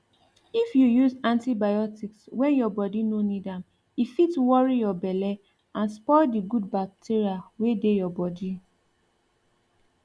if you use antibiotics when your body no need am e fit worry your belle and spoil the good bacteria wey dey your bodi